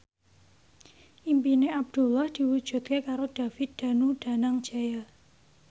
impine Abdullah diwujudke karo David Danu Danangjaya